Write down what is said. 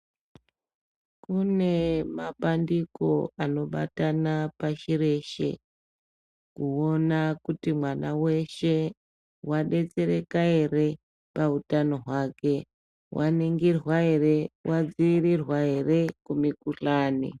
Kune mapandiko anobatana pashi reshe, kuona kuti mwana weshe ,wadetsereka ere pautano hwake, waningirwa ere, wadziirirwa ere kumikhuhlani.